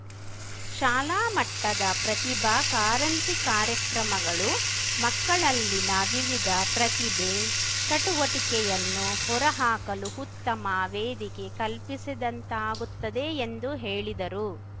ಶಾಲಾ ಮಟ್ಟದ ಪ್ರತಿಭಾ ಕಾರಂಜಿ ಕಾರ್ಯಕ್ರಮಗಳು ಮಕ್ಕಳಲ್ಲಿನ ವಿವಿಧ ಪ್ರತಿಭೆ ಚಟುವಟಿಕೆಯನ್ನು ಹೊರಹಾಕಲು ಉತ್ತಮ ವೇದಿಕೆ ಕಲ್ಪಿಸಿದಂತಾಗುತ್ತದೆ ಎಂದು ಹೇಳಿದರು